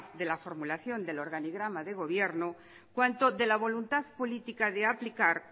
de la formulación del organigrama del gobierno cuanto de la voluntad política de aplicar